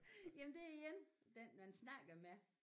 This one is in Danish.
Jamen det er igen den man snakker med